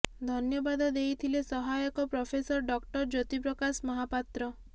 ଧନ୍ୟବାଦ ଦେଇଥିଲେ ସହାୟକ ପ୍ରଫେସର ଡକ୍ଟର ଜ୍ୟୋତି ପ୍ରକାଶ ମହାପାତ୍ର